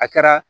A kɛra